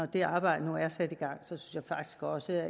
det arbejde er sat i gang synes jeg faktisk også at